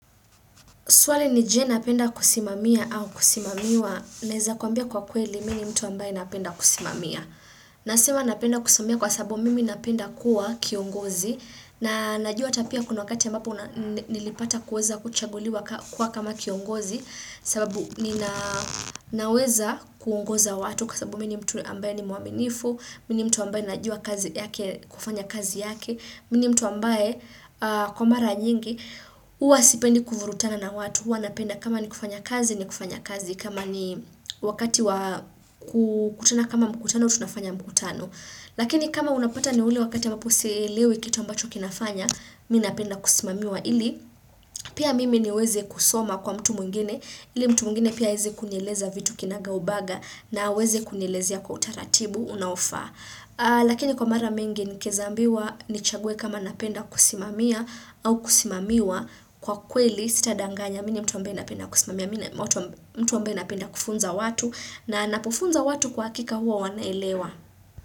Swali ni je unapenda kusimamia au kusimamiwa. Naeza kwambia kwa kweli, mimi mtu ambaye napenda kusimamia. Nasema napenda kusimamia kwa sababu mimi napenda kuwa kiongozi. Na najua pia kuna wakati ambapo nilipata kuweza kuchaguliwa kuwa kama kiongozi. Sababu ninaweza kuongoza watu kwa sababu mimi mtu ambaye ni muaminifu. Mimi mtu ambaye najua kufanya kazi yake. Mini mtu ambae kwa mara nyingi, huwa sipendi kuvurutana na watu, huwa napenda kama ni kufanya kazi, ni kufanya kazi, kama ni wakati wa kukutana kama mkutano, tunafanya mkutano. Lakini kama unapata ni ule wakati ya mapusi lewe kitu ambacho kinafanya, minapenda kusimamiwa ili, pia mimi niweze kusoma kwa mtu mwingine, ili mtu mwingine pia aweze kunieleza vitu kinaga ubaga na aweze kunileza kwa utaratibu, unaofa. Lakini kwa mara mingi nimeambiwa nichague kama napenda kusimamia au kusimamiwa kwa kweli sita danganya mtu nawaambia napenda kufunza watu na ninapofunza watu kwa hakika huo wanaelewa.